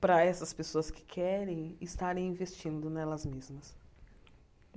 para essas pessoas que querem estarem investindo nelas mesmas.